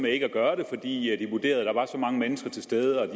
ikke at gøre det fordi de vurderede at der var så mange mennesker til stede og at